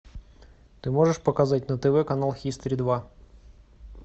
ты можешь показать на тв канал хистори два